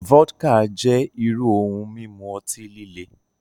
Vodka jẹ iru ohun mimu ọti-lile.